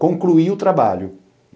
Concluir o trabalho.